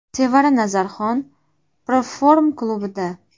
Sevara Nazarxon Proform klubida.